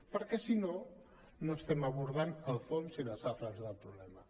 perquè si no no estem abordant el fons i les arrels del problema